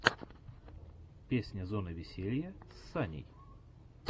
песня зоны веселья с саней